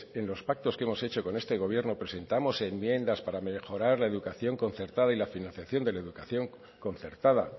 en los pactos que hemos hecho con este gobierno presentamos enmiendas para mejorar la educación concertada y la financiación de la educación concertada